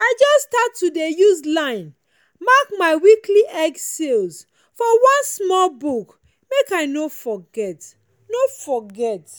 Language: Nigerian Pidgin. i just start to dey use line mark my weekly egg sales for one small book make i no forget. no forget.